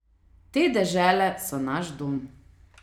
Te dežele so naš dom.